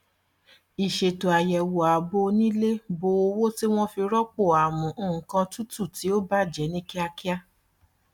ìṣètò àyẹwò ààbò onílẹ bó owó tí wọn fi rọpò amú nkan tutù tí ó bàjẹ ní kíákíá